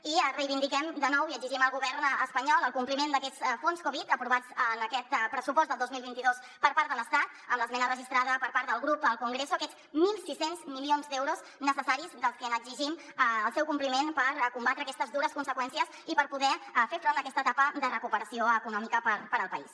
i els reivindiquem de nou i exigim al go·vern espanyol el compliment d’aquests fons covid aprovats en aquest pressupost del dos mil vint dos per part de l’estat amb l’esmena registrada per part del grup al congreso aquests mil sis cents milions d’euros necessaris dels que exigim el compliment per comba·tre aquestes dures conseqüències i per poder fer front a aquesta etapa de recuperació econòmica per al país